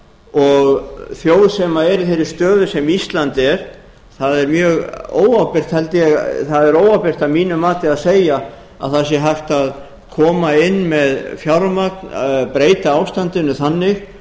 og þjóð sem er í þeirri stöðu sem ísland er það er mjög óábyrgt að mínu mati að segja að það sé hægt að koma inn með fjármagn breyta ástandinu þannig